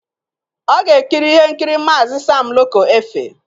Ọ ga-ekiri ihe nkiri Maazi Sam Loco Efe.